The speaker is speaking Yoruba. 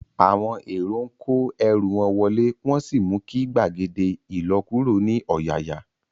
Àwọn èrò ń kó ẹrú wọn wọlé, wọn sì mú kí gbàgede ilokuro ní ọ̀yàyà